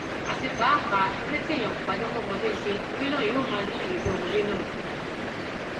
àti pàápàá eré tí èèyàn kò bá jẹ kí ọmọdé ṣe eré náà yóò máa níyì lójú ọmọdé náà ni